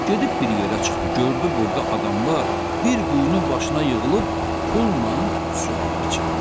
Gedib bir yerə çıxdı, gördü burda adamlar bir quyunun başına yığılıb, pulla su alıb içirlər.